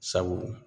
Sabu